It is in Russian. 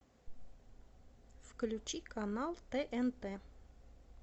включи канал тнт